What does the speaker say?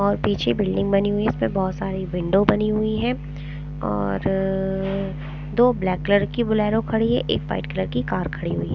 और पीछे बिल्डिंग बनी हुई हैं इसमें बहुत सारी विंडो बनी हुई हैं और र दो ब्लैक कलर की बुलेरो खड़ी हैं एक वाइट कलर की कार खड़ी हुई हैं।